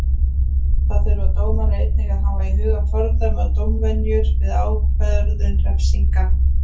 Þá þurfa dómarar einnig að hafa í huga fordæmi og dómvenjur við ákvörðun refsinga.